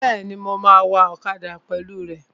Bẹ́ẹ̀ni, mo máa wa ọ̀kadà pẹ̀lú rẹ